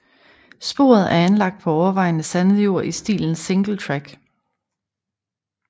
Sporet er anlagt på overvejende sandet jord i stilen Singletrack